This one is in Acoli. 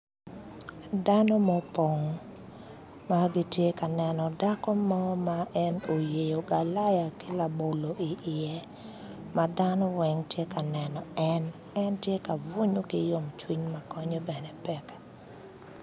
Dano ma opong magitye ka neno dako mo ma en oyeyo galaya ki labolo i ye madano weng tye ka neno en en tye ka bunyo ki yom cwiny ma konye bene pek.